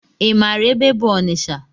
I maara ebe bụ Ọnịcha?